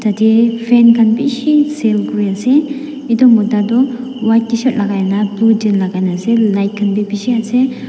etey fan khan bishi sale kurey ase etu mota white tshirt lagai kena blue jeans la kai kena ase light khan b bishi ase.